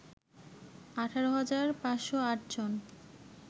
১৮ হাজার ৫০৮ জন